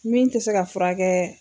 Min tɛ se ka furakɛ.